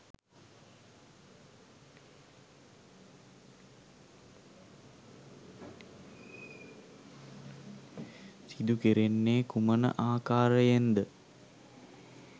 සිදු කෙරෙන්නේ කුමන ආකාරයෙන්ද?